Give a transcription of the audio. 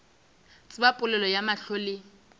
tsebe polelo ya mahlo le